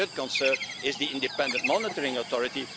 The third concern is the Independent Monitoring Authority.